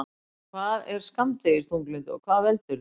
Hvað er skammdegisþunglyndi og hvað veldur því?